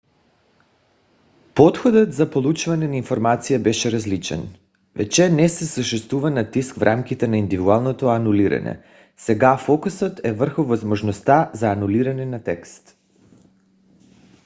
подходът за получаване на информация беше различен. вече не съществува натиск в рамките на индивидуалното анулиране сега фокусът е върху възможността за анулиране на текст